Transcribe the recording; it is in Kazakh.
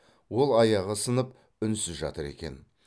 ол аяғы сынып үнсіз жатыр екен